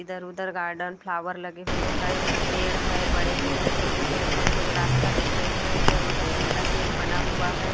इधर-उधर garden flower लगे हुए है कुछ पेड़ है बड़े पेड़ है छोटे पेड़ है कुछ रास्ता दिख रहे है इधर-उधर टिन का सेट बना हुआ है।